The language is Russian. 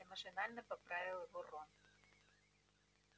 перси машинально поправил его рон